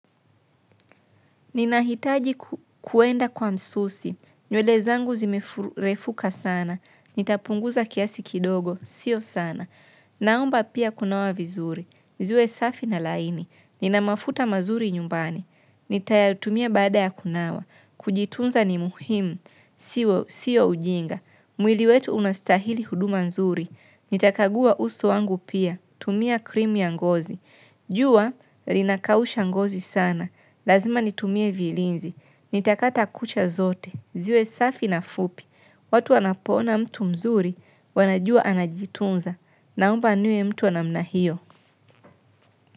Ninahitaji kuenda kwa msusi. Nywele zangu zimefurefuka sana. Nitapunguza kiasi kidogo. Sio sana. Naomba pia kunawa vizuri. Ziwe safi na laini. Ninamafuta mazuri nyumbani. Nitayatumia baada ya kunawa. Kujitunza ni muhimu. Sio ujinga. Mwili wetu unastahili huduma nzuri. Nitakagua uso wangu pia. Tumia krim ya ngozi. Jua, linakausha ngozi sana, lazima nitumie vilinzi, nitakata kucha zote, ziwe safi na fupi, watu wanapoona mtu mzuri, wanajua anajitunza, naomba niwe mtu wa namna hiyo.